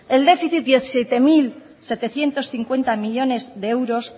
el déficit de siete mil setecientos cincuenta millónes de euros